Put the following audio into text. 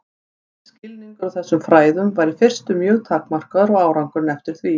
Skilningur á þessum fræðum var í fyrstu mjög takmarkaður og árangurinn eftir því.